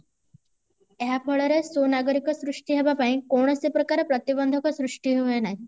ଏହା ଫଳରେ ସୁ ନାଗରିକ ସୃଷ୍ଟି ହେବାପାଇଁ କୌଣସି ପ୍ରକାର ପ୍ରତିବନ୍ଦକ ସୃଷ୍ଟି ହୁ ନାହିଁ